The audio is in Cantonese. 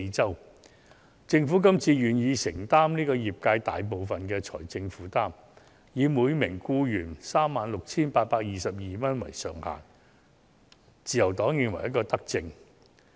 對於政府這次願意承擔業界大部分的財政負擔，以每名僱員 36,822 元為上限，自由黨認為是一項德政。